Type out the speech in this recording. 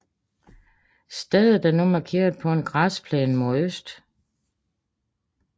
Stedet er nu markeret på en græsplæne mod øst